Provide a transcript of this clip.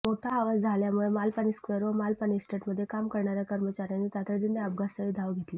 मोठा आवाज झाल्यामुळे मालपाणी स्क्वेअर व मालपाणी इस्टेटमध्ये काम करणार्या कर्मचार्यांनी तातडीने अपघातस्थळी धाव घेतली